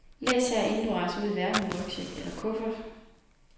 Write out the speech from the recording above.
Læs her, inden du rejser ud i verden med rygsæk eller kuffert.